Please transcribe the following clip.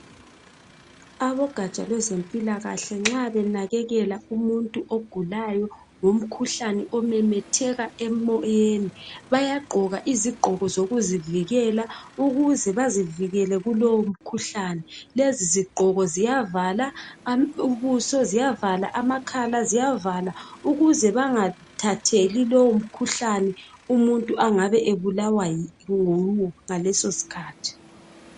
abogaja lwezempilakahle nxabenakelela umuntu umkhuhlane omemetheka emoyeni bayagqoka izigqoka izigqoko zokuzivikela ukuze bazivikele kumkhuhlane lezi zigqoko ziyavala ubuso ziyavala amakhala ziyavala ukuze bengathatheli lowomkhuhlane umuntu engabe engabe ebulawa yiwo ngaleso isikhathi